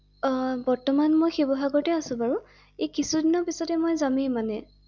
বৰ্তমান মই শিৱসাগৰতে আছো বাৰু এই কিছুদিনৰ পিছতে মই যামে মানে ৷